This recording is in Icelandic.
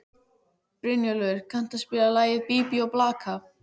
Brynjólfur, kanntu að spila lagið „Bí bí og blaka“?